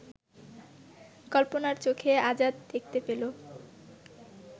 কল্পনার চোখে আজাদ দেখতে পেল